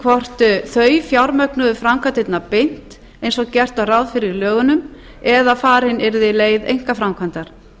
hvort þau fjármögnuðu framkvæmdirnar beint eins og gert var ráð fyrir í lögunum eða farin yrði leið einkaframkvæmdar